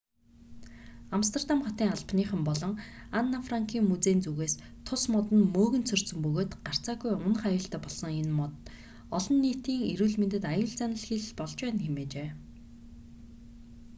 амстердам хотын албаныхан болон анн франкын музейн зүгээс тус мод нь мөөгөнцөртсөн бөгөөд гарцаагүй унах аюултай болсон энэ мод олон нийтийн эрүүл мэндэд аюул заналхийлэл болж байна хэмээжээ